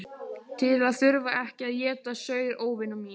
Til að þurfa ekki að éta saur óvina minna.